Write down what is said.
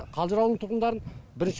қалжыр ауылының тұрғындарын бірінші